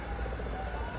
Uzaq dur.